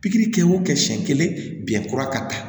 Pikiri kɛ o kɛ siɲɛ kelen biɲɛ kura ka taa